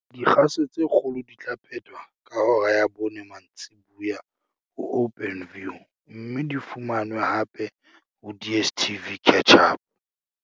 Dikgaso tse kgolo di tla phetwa ka hora ya bone mantsibuya ho Openview mme di fumanwe hape ho DSTV Catch-Up.